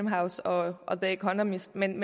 house og the economist men